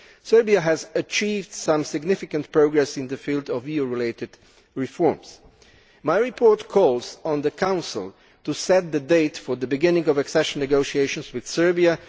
Serbia has achieved some significant progress in the field of EU related reforms. My report calls on the Council to set the date for the beginning of accession negotiations with Serbia.